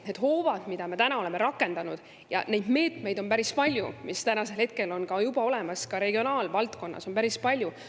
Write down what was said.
Neid hoobasid, mida me oleme rakendanud, ja neid meetmeid on päris palju, mis on juba olemas, ka regionaalvaldkonnas on neid päris palju.